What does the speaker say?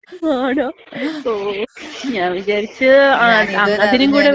ആണോ? ഓക്കേ ഞാൻ വിചാരിച്ച് അതിനും കൂടെ വേണ്ടിയിട്ട്.